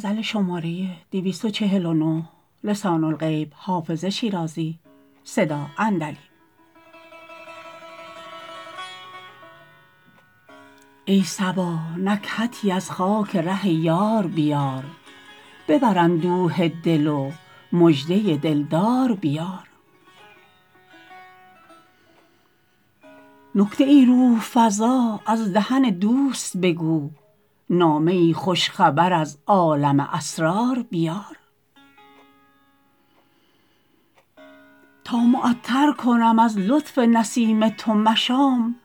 ای صبا نکهتی از خاک ره یار بیار ببر اندوه دل و مژده دل دار بیار نکته ای روح فزا از دهن دوست بگو نامه ای خوش خبر از عالم اسرار بیار تا معطر کنم از لطف نسیم تو مشام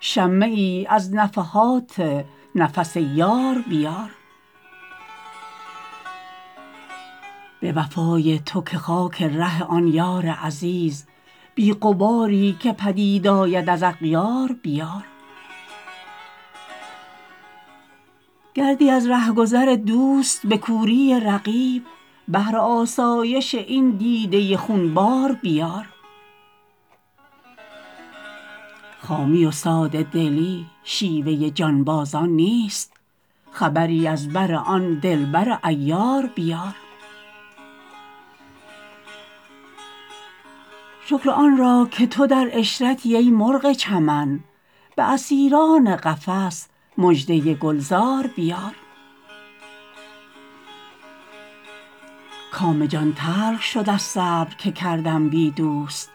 شمه ای از نفحات نفس یار بیار به وفای تو که خاک ره آن یار عزیز بی غباری که پدید آید از اغیار بیار گردی از ره گذر دوست به کوری رقیب بهر آسایش این دیده خون بار بیار خامی و ساده دلی شیوه جانبازان نیست خبری از بر آن دل بر عیار بیار شکر آن را که تو در عشرتی ای مرغ چمن به اسیران قفس مژده گل زار بیار کام جان تلخ شد از صبر که کردم بی دوست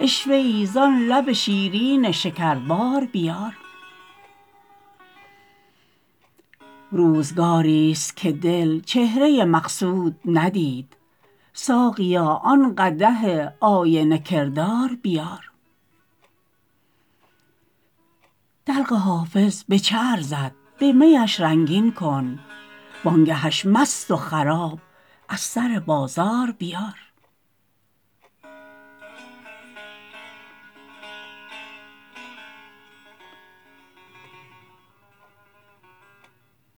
عشوه ای زان لب شیرین شکربار بیار روزگاریست که دل چهره مقصود ندید ساقیا آن قدح آینه کردار بیار دلق حافظ به چه ارزد به می اش رنگین کن وان گه اش مست و خراب از سر بازار بیار